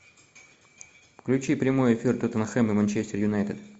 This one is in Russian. включи прямой эфир тоттенхэм и манчестер юнайтед